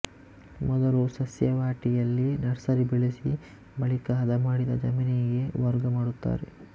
ಮೊದಲು ಸಸ್ಯವಾಟಿಯಲ್ಲಿ ನರ್ಸರಿ ಬೆಳೆಸಿ ಬಳಿಕ ಹದಮಾಡಿದ ಜಮೀನಿಗೆ ವರ್ಗ ಮಾಡುತ್ತಾರೆ